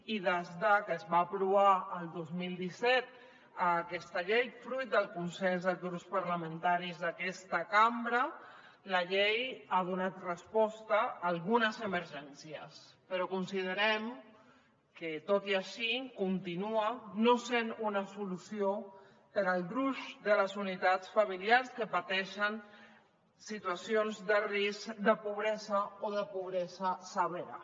i des de que es va aprovar el dos mil disset aquesta llei fruit del consens dels grups parlamentaris d’aquesta cambra ha donat resposta a algunes emergències però considerem que tot i així continua no sent una solució per al gruix de les unitats familiars que pateixen situacions de risc de pobresa o de pobresa severa